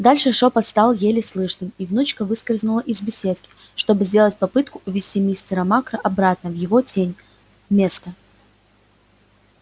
дальше шёпот стал еле слышным и внучка выскользнула из беседки чтобы сделать попытку увести мистера макра обратно на его место в тень